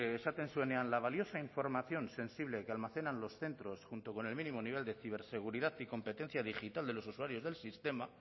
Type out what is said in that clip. esaten zuenean la valiosa información sensible que almacenan los centros junto con el mínimo nivel de ciberseguridad y competencia digital de los usuarios del sistema